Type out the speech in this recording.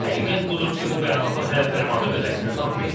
Həqiqət budur ki, bu bəyanatlar hələ fərmanda öz əksini tapmayıb.